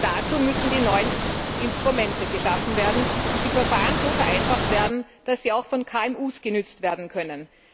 Dazu müssen neue Instrumente geschaffen und die Verfahren so vereinfacht werden, dass sie auch von KMUs genützt werden können.